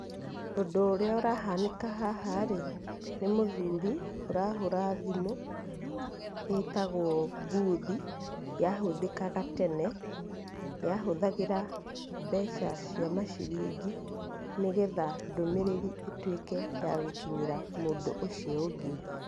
Ũndũ ũrĩa ũrahanĩka haha-rĩ, nĩ mũthurĩ ũrahũra thimũ ĩtagwo mbuthi, yahũthĩkaga tene, yahũthagĩra mbeca cia maciringi, nĩgetha ndũmĩrĩri ĩtuĩke ya gũkinyĩra mũndũ ũcio ũngĩ.